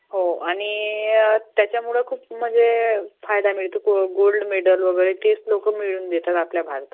हो आणि त्याच्यामुळं खूप फायदा मळतो. गोल्ड मेडल वगैरे तेच लोकं मिळवून देतात आपल्या भारताला